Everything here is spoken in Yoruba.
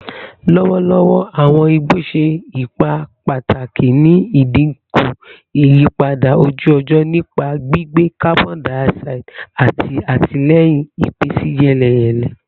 Lọwọlọwọ, awọn igbo ṣe ipa pataki ni idinku iyipada oju-ọjọ nipa gbigbe carbon dioxide ati atilẹyin ipinsiyeleyele.